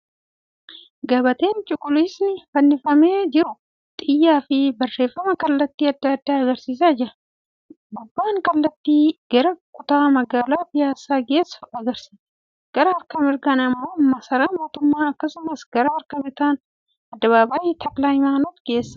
Gabateen cuquliisni fannifamee jiru xiyyaa fi barreeffama kallattii adda addaa agarsiisaa jira. Gubbaan kallattii gara kutaa magaalaa piyaassaa geessu agarsiisa. Gara harka mirgaan immoo masaraa mootummaa. Akkasumas, gara harka bitaan addabaabayii Takila Hayimaanot geessa.